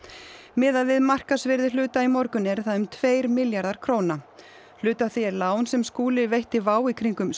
miðað við markaðsvirði hluta í morgun eru það um tveir milljarðar króna hluti af því er lán sem Skúli veitti WOW í kringum